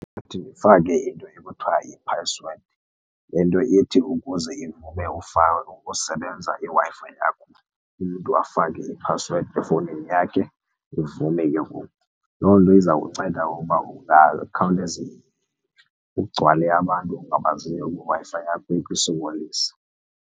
ndifake into ekuthiwa yiphasiwedi, le nto ithi ukuze ivume ukusebenza iWi-Fi yakho umntu afake iphasiwedi, efowunini yakhe ivume ke ngoku. Loo nto iza kunceda ngokuba kungakhawuleze kugcwale abantu ongabaziyo kwiWi-Fi yakho ikusokolise.